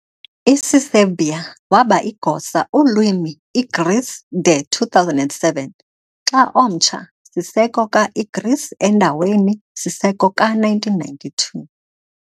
Isiserbia waba igosa ulwimi Igreece de 2007 xa omtsha - Siseko ka-Igreece endaweni-Siseko ka-1992.